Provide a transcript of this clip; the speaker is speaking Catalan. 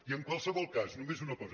i en qualse·vol cas només una cosa